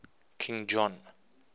king john